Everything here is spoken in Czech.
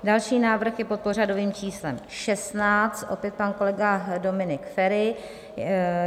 Další návrh je pod pořadovým číslem 16, opět pan kolega Dominik Feri.